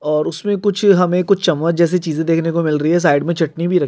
और अ उसमे कुछ हमें चमच जेसी चीजें देखने को मिल रही हैं साइड़ मे चटनी भी रखी--